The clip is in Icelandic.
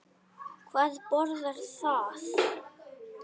Hvað boðar það?